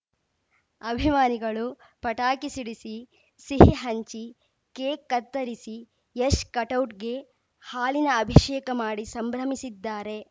ಅಭಿಮಾನಿಗಳು ಪಟಾಕಿ ಸಿಡಿಸಿ ಸಿಹಿ ಹಂಚಿ ಕೇಕ್‌ ಕತ್ತರಿಸಿ ಯಶ್‌ ಕಟೌಟ್‌ಗೆ ಹಾಲಿನ ಅಭಿಷೇಕ ಮಾಡಿ ಸಂಭ್ರಮಿಸಿದ್ದಾರೆ